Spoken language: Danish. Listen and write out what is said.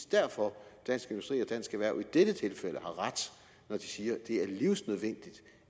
derfor dansk industri og dansk erhverv i dette tilfælde har ret når de siger at det er livsnødvendigt